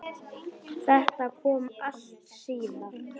Þetta kom allt síðar.